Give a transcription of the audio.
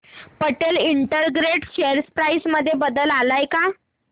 Patel integrated share price मध्ये बदल आलाय का